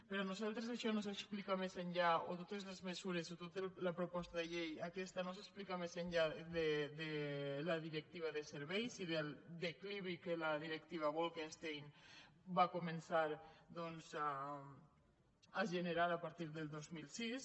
per nosaltres totes les mesures o tota la proposta de llei aquesta no s’expliquen més enllà de la directiva de serveis i del declivi que la directiva bolkestein va començar a generar a partir del dos mil sis